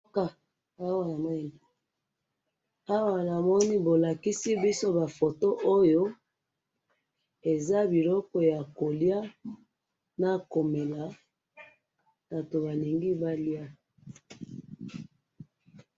awa namoni bolakisi biso ba foto oyo eza biloko ya koliya na komema batou balingi baliya